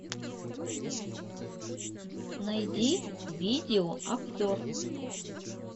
найди видеообзор